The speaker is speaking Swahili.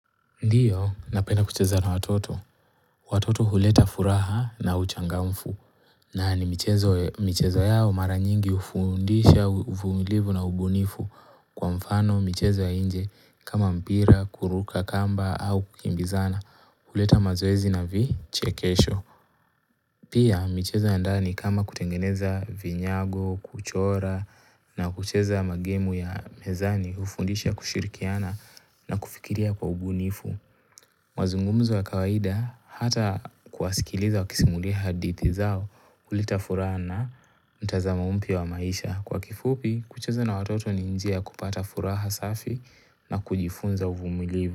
Ndiyo napenda kucheza na watoto. Watoto huleta furaha na uchangamfu. Na ni michezo michezo yao mara nyingi hufundisha uvumilivu na ubunifu kwa mfano michezo ya nje kama mpira, kuruka kamba au kukimbizana. Huleta mazoezi na vichekesho. Pia michezo ya ndani kama kutengeneza vinyago, kuchora na kuchezo ya magemu ya mezani hufundisha kushirikiana na kufikiria kwa ubunifu. Mazungumzo ya kawaida hata kuwasikiliza wakisimuliha hadithi zao hulita furaha na mtazamo umpya wa maisha. Kwa kifupi, kucheza na watoto ni njia ya kupata furaha safi na kujifunza uvumilivu.